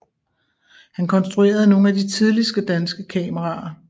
Han konstruerede nogle af de tidligste danske kameraer